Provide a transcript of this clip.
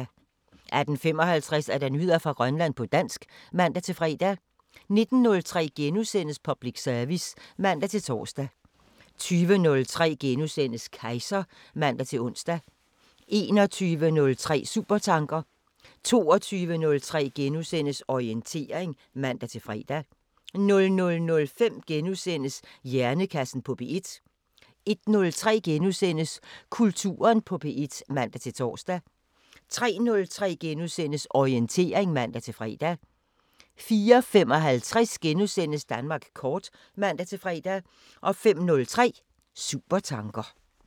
18:55: Nyheder fra Grønland på dansk (man-fre) 19:03: Public service *(man-tor) 20:03: Kejser *(man-ons) 21:03: Supertanker 22:03: Orientering *(man-fre) 00:05: Hjernekassen på P1 * 01:03: Kulturen på P1 *(man-tor) 03:03: Orientering *(man-fre) 04:55: Danmark kort *(man-fre) 05:03: Supertanker